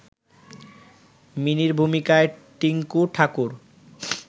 মিনির ভূমিকায় টিংকু ঠাকুর